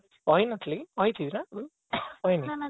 କହି ନଥିବୀ କହି ଥିବି ନା କହିନି